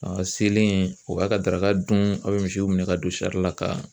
A selen o b'a ka daraka dun a bɛ misiw minɛn ka don sari la ka